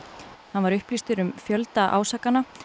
hann var upplýstur um fjölda ásakana